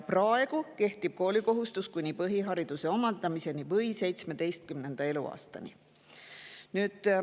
Praegu kehtib koolikohustus kuni põhihariduse omandamiseni või 17. eluaastani.